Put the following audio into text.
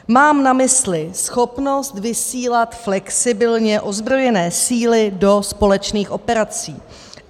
Mám na mysli schopnost vysílat flexibilně ozbrojené síly do společných operací.